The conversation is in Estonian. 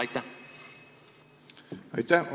Aitäh!